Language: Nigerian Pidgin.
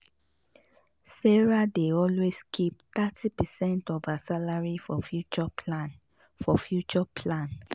sarah dey always keep thirty percent of her salary for future plan. for future plan.